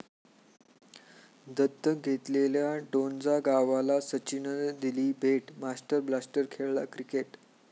दत्तक घेतलेल्या डोंजा गावाला सचिननं दिली भेट, 'मास्टर ब्लास्टर' खेळला क्रिकेट